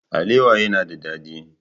Alewa yana da dadi.